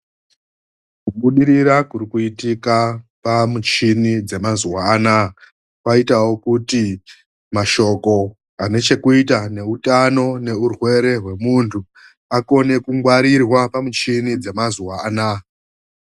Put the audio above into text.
Kubudirira kuri kuitika pamuchini dzemazuva anawa kwaitawo kuti mashoko anochokuita kweutano neurwere hwemundu akone kungwarirwa pamuchini dzemazuva anawa.